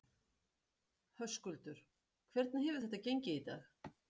Höskuldur: Hvernig hefur þetta gengið í dag?